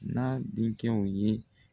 N'a denkɛw ye.